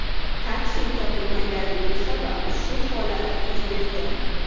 Taksi topilmaganligi sabab shu holat yuz bergan.